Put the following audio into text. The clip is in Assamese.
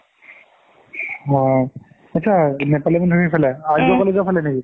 অ আত্চা নেপালি মন্দিৰৰ কোন্ফালে আৰ্য college ৰ ফালে নেকি?